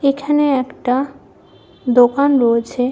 এখানে একটা দোকান রয়েছে।